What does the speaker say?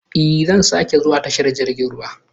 Ee, zan sake zuwa tashar jirgin ruwa.